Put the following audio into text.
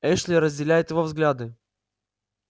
эшли разделяет его взгляды